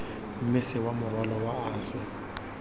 mmese wa morwalo wa ase